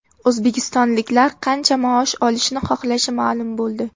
O‘zbekistonliklar qancha maosh olishni xohlashi ma’lum bo‘ldi.